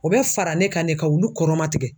O bɛ fara ne kan ne ka olu kɔrɔmatigɛ.